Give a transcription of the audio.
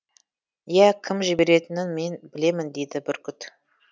ия кім жіберетінін мен білемін дейді бүркіт